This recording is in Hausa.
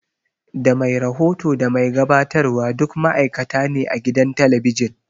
Da mai rahoto da mai gabatarwa duk ma'aikata ne a gidan talabijin